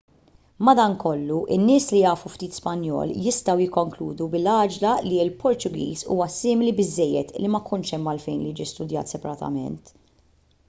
madankollu in-nies li jafu ftit spanjol jistgħu jikkonkludu bil-għaġla li l-portugiż huwa simili biżżejjed li ma jkunx hemm għalfejn li jiġi studjat separatament